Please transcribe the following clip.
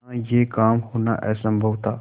बिना यह काम होना असम्भव था